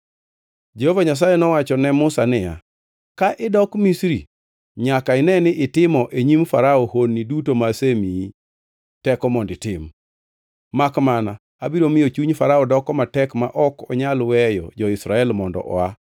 Jehova Nyasaye nowacho ne Musa niya, “Ka idok Misri nyaka ine ni itimo e nyim Farao honni duto ma asemiyi teko mondo itim. Makmana abiro miyo chuny Farao doko matek ma ok onyal weyo jo-Israel mondo oa.